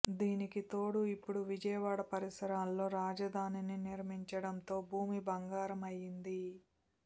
దీనికితోడు ఇప్పుడు విజయవాడ పరిసరాల్లో రాజధానిని నిర్మించడంతో భూమి బంగారం అయింది